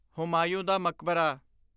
ਹੁਮਾਯੂੰ ਦਾ ਮਕਬਰਾ